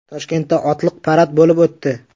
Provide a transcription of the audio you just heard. Toshkentda otliq parad bo‘lib o‘tdi .